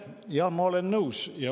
Jaa, ma olen nõus.